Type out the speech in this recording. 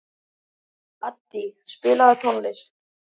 Addý, spilaðu tónlist.